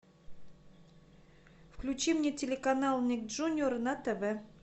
включи мне телеканал ник джуниор на тв